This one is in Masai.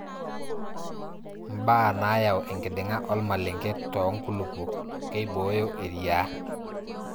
ibaa naayau enkiding'a ormalenke too nkulupuok ,keibooyo eriaa